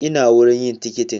Ina wurin yin tikitin